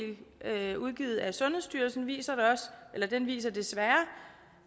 udgivet af sundhedsstyrelsen viser viser desværre